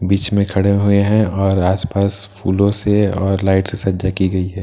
बिच में खड़े हुए हैं और आसपास फूलों से और लाइट से सज्जा की गयी हैं --